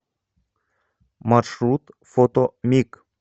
маршрут фото миг